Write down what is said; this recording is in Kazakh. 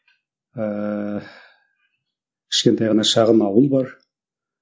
ыыы кішкентай ғана шағын ауыл бар